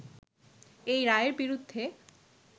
এই রায়ের বিরুদ্ধে